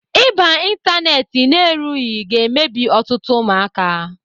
Ịba n'Ịntanet na-erughị ga-emebi ọtụtụ ụmụaka.